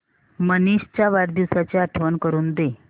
मनीष च्या वाढदिवसाची आठवण करून दे